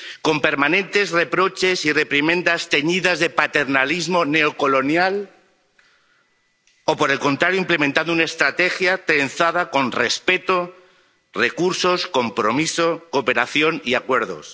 ¿Con permanentes reproches y reprimendas teñidas de paternalismo neocolonial, o, por el contrario, implementando una estrategia pensada con respeto, recursos, compromiso, cooperación y acuerdos?